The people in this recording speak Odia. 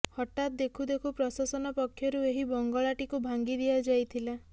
ହଠାତ୍ ଦେଖୁଦେଖୁ ପ୍ରଶାସନ ପକ୍ଷରୁ ଏହି ବଙ୍ଗଳାଟିକୁ ଭାଙ୍ଗି ଦିଆଯାଇଥିଲା